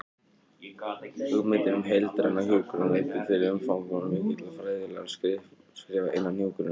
Hugmyndin um heildræna hjúkrun leiddi til umfangsmikilla fræðilegra skrifa innan hjúkrunar.